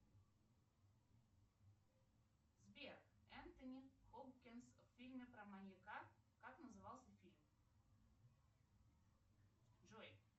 сбер энтони хопкинс в фильме про маньяка как назывался фильм джой